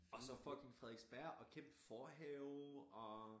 Og så fucking Frederiksberg og kæmpe forhave og